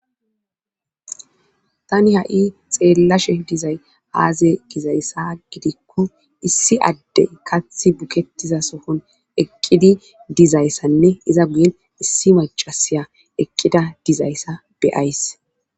tani ha'i xeellashe dizay aaze gizayssa gidikko issi addey kath buketiza sohon eqqidi dizayssanne iza guyen issi macasiya eqqida dizayssa beyays.